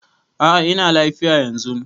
A'a ina lafiya yanzun.